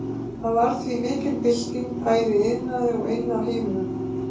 Það varð því mikil bylting bæði í iðnaði og inni á heimilum.